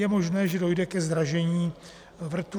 Je možné, že dojde ke zdražení vrtů.